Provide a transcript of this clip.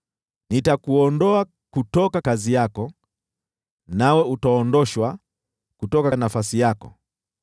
Nitakuondoa kutoka kazi yako, nawe utaondoshwa kutoka nafasi yako.